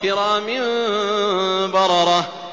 كِرَامٍ بَرَرَةٍ